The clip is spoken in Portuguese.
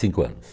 Cinco anos.